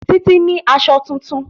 Títí ní aṣọ tuntun